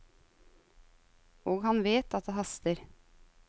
Og han vet at det haster.